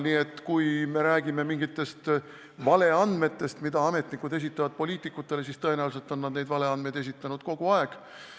Nii et kui me räägime mingitest valeandmetest, mida ametnikud esitavad poliitikutele, siis tõenäoliselt on nad neid valeandmeid esitanud kogu aeg.